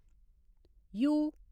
U